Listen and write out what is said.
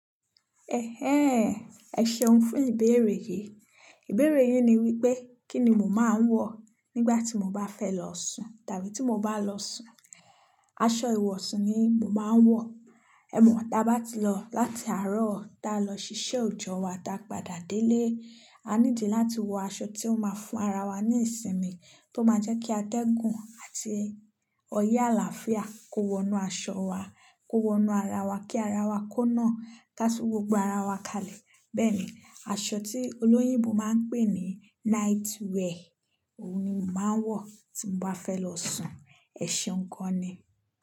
Ẹ̀hẹ́n, ẹ ṣeun fún ìbéèrè yìí. Ìbéèrè yín ni wípé kí ni mo máa ń wọ̀ nígbà tí mo bá fẹ́ lọ sùn tàbí tí mo bá lọ sùn. Aṣọ ìwọ̀sùn ni mo máa ń wọ̀. Ẹ̀ mọ̀, dá bá ti lọ láti àárọ̀ dá lọ ṣiṣẹ́ ọ̀jọ̀ wá, dá padà délé, a ní di láti wọ aṣọ tí ó máa fún ara wa ní ìsinmi, tó máa jẹ́ kí a atẹ́gùn àti oyé àlàáfíà kó wọnú aṣọ wa, kó wọnú ara wa kí ara wa kó náà ká tú gbogbo ara wa kalẹ̀. Bẹ́ẹ̀ ni, aṣọ tí olóyìnbo máa ń pè ní night wear, òun ni mo máa ń wọ̀ tí mo bá fẹ́ lọ sùn. Ẹ ṣeun gan-an ni.